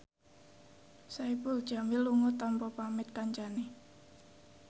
Saipul Jamil lunga tanpa pamit kancane